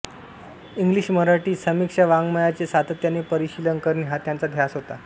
इंग्लिशमराठी समीक्षावाङ्मयाचे सातत्याने परिशीलन करणे हा त्यांचा ध्यास होता